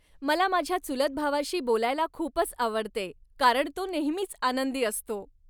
मला माझ्या चुलत भावाशी बोलायला खूपच आवडते, कारण तो नेहमीच आनंदी असतो.